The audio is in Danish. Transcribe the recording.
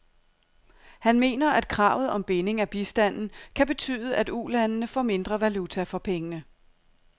Han mener, at kravet om binding af bistanden kan betyde, at ulandene får mindre valuta for pengene.